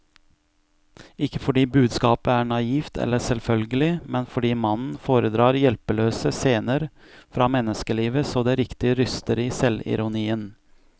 Ikke fordi budskapet er naivt eller selvfølgelig, men fordi mannen foredrar hjelpeløse scener fra menneskelivet så det riktig ryster i selvironien.